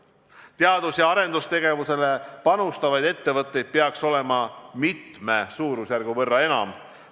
Teadus- ja arendustegevusele panustavaid ettevõtteid peaks olema mitme suurusjärgu võrra enam.